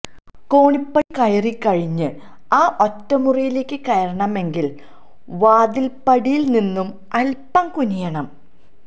കോണിപ്പടി കയറിക്കഴിഞ്ഞ് ആ ഒറ്റമുറിയിലേക്ക് കയറണമെങ്കില് വാതില്പ്പടിയില് നിന്നും അല്പ്പം കുനിയണം